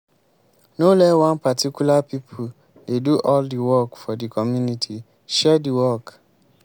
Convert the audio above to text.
no let one particular pipo dey do all di work for di community share di work